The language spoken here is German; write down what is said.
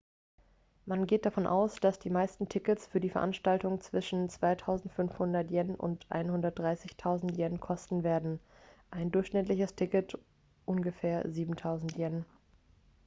man geht davon aus dass die meisten tickets für die veranstaltung zwischen 2.500¥ und 130.000¥ kosten werden ein durchschnittliches ticket ungefähr 7.000¥